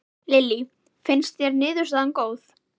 Lillý: Finnst þér niðurstaðan góð?